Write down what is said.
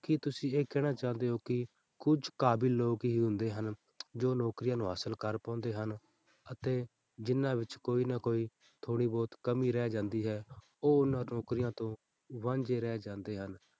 ਕੀ ਤੁਸੀਂ ਇਹ ਕਹਿਣਾ ਚਾਹੁੰਦੇ ਹੋ ਕਿ ਕੁੱਝ ਕਾਬਿਲ ਲੋਕ ਹੀ ਹੁੰਦੇ ਹਨ ਜੋ ਨੌਕਰੀਆਂ ਨੂੰ ਹਾਸ਼ਿਲ ਕਰ ਪਾਉਂਦੇ ਹਨ, ਅਤੇ ਜਿੰਨਾਂ ਵਿੱਚ ਕੋਈ ਨਾ ਕੋਈ ਥੋੜ੍ਹੀ ਬਹੁਤ ਕਮੀ ਰਹਿ ਜਾਂਦੀ ਹੈ, ਉਹ ਉਹਨਾਂ ਨੌਕਰੀਆਂ ਤੋਂ ਵਾਂਝੇ ਰਹਿ ਜਾਂਦੇ ਹਨ।